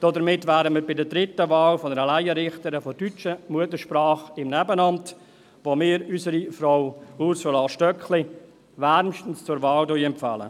Damit wären wir bei der dritten Wahl einer Laienrichterin deutscher Muttersprache im Nebenamt, bei der wir unsere Frau Ursula Stöckli wärmstens zur Wahl empfehlen.